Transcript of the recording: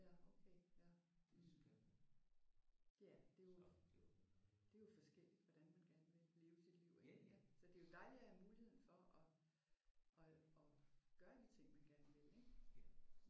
Ja okay ja mh. Ja det er jo det er jo forskelligt hvordan man gerne vil leve sit liv ik? Så det er jo dejligt at have muligheden for at at at gøre de ting man gerne vil ik?